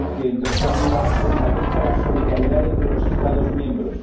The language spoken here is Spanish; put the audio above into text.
que, en tercer lugar, establezca la solidaridad entre los Estados miembros